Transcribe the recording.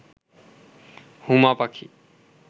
হুমা পাখি